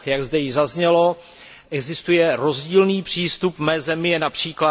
Jak zde již zaznělo, existuje rozdílný přístup, v mé zemi je např.